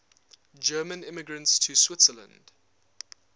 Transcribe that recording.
german immigrants to switzerland